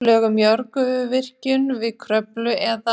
Lög um jarðgufuvirkjun við Kröflu eða